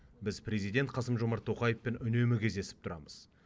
біз президент қасым жомарт тоқаевпен үнемі кездесіп тұрамыз